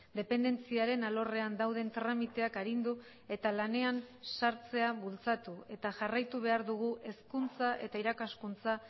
dependentziaren alorrean dauden tramiteak arindu eta lanean sartzea bultzatu eta jarraitu behar dugu hezkuntza eta irakaskuntza